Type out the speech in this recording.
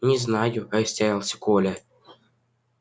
не знаю растерялся коля